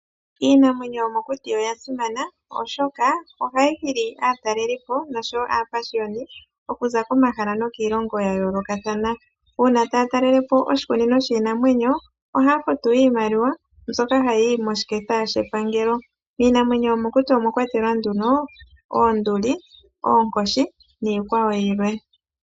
Iinamwenyo yomokuti oyasimana oshoka ohayi hili aatalelipo noshowo aapashiyoni okuza komahala nokiilongo yayoolokathana. Uuna taya talele po oshikunino shiinamwenyo ohaya futu iimaliwa mbyoka hayiyi moshiketha shepangelo. Iinamwenyo yomokuti omwakwatelwa nduno oonduli, oonkoshi niikwawo yilwe.